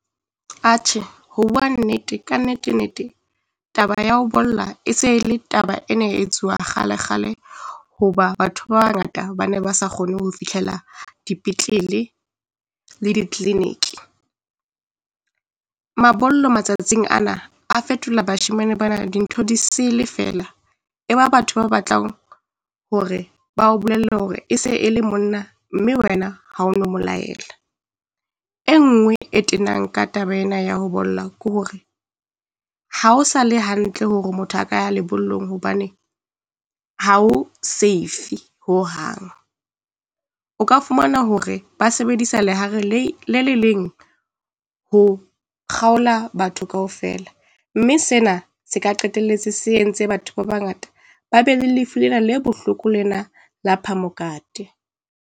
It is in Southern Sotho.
Atjhe, ho bua nnete, ka nnete nnete taba ya ho bolla e se le taba ena e etsuwa kgale kgale, hoba batho ba bangata ba ne ba sa kgone ho fihlela dipetlele le di-clinic. Mabollo matsatsing ana a fetola bashemane bana dintho disele fela, e ba batho ba batlang hore ba o bolelle hore e se e le monna mme wena ha ona moo laela. E nngwe e tenang ka taba ena ya ho bolella ke hore ha o sale hantle hore motho a ka ya lebollong hobane ha ho safe ho hang. O ka fumana hore ba sebedisa lehare leng le le leng ho kgaola batho kaofela mme sena se ka qetelletse se entse batho ba bangata ba be le lefu lena le bohloko lena la phamokate.